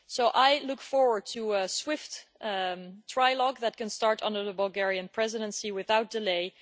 I look forward to a swift trilogue that can start under the Bulgarian Presidency without delay.